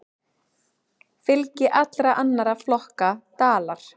Fylgi allra annarra flokka dalar.